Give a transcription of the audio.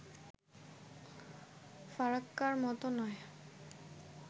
ফারাক্কার মতো নয়